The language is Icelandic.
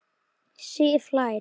Sif hlær.